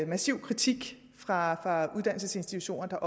massiv kritik fra uddannelsesinstitutioner der